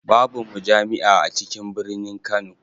Babu mujami'a a cikin birinin Kano.